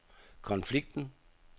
konflikten